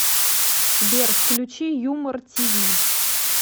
сбер включи юмор ти ви